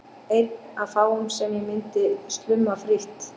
Einn af fáum sem ég myndi slumma frítt.